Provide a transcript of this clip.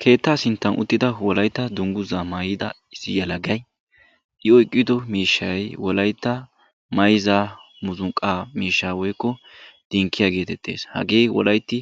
Keettaa sinttan uttida Wolaytta dungguza maayyida issi yelagay i oyqqido miishshay Wolaytta mayzza muuziqqa miishshaa woykko dinkkiyaa getetees; hagee wolaytti